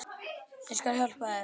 Ég skal hjálpa þér.